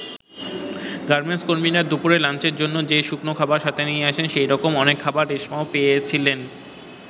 Garments কর্মীরা দুপুরের লাঞ্চের জন্য যে শুকনো খাবার সাথে নিয়ে আসেন, সেরকম অনেক খাবার রেশমা পেয়েছিলেন।